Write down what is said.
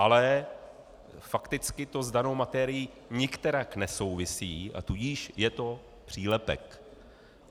Ale fakticky to s danou materií nikterak nesouvisí, a tudíž je to přílepek.